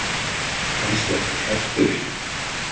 Kannski ertu hræddur.